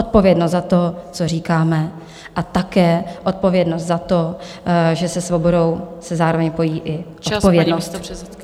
Odpovědnost za to, co říkáme, a také odpovědnost za to, že se svobodou se zároveň pojí i odpovědnost.